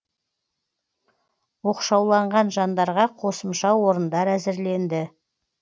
оқшауланған жандарға қосымша орындар әзірленді